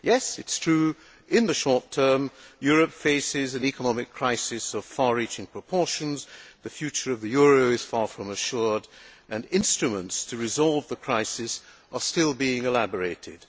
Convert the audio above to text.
It is true that in the short term Europe faces an economic crisis of far reaching proportions, the future of the euro is far from assured and instruments to resolve the crisis are still being elaborated.